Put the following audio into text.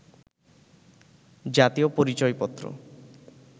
জাতীয় পরিচয়পত্র